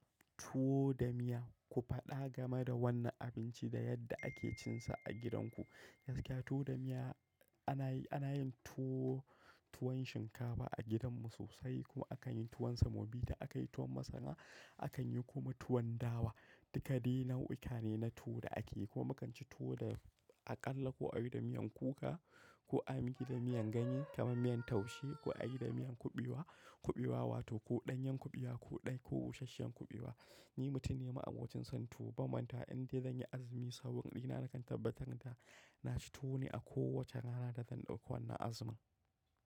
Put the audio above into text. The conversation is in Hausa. Tuwo da miya, ku faɗa game da wannan abinci da yadda ake cinsa a gidanku. Gaskiya tuwo da miya ana yi, ana yin tuwo, tuwon shinkafa a gidanmu sosai kuma akan yi tuwon semobita, akayi tuwon masara, akan yi kuma tuwon dawa. Duka dai nau'uka ne na tuwo da ake yi kuma akan ci tuwo da aƙalla ko a yi da miyan kuka ko a miƙi da miyan ganye kamar miyan taushe ko a yi da miyan kuɓewa, kuɓewa wato ko ɗanyen kuɓewa ko ɗai ko usasshen kuɓewa. Ni mutun ne ma abokin son tuwo bamanta inda zan yi azumi saboda ina nakan tabbatar da na ci tuwo ne a kowace rana da zan ɗauko wannan azumin.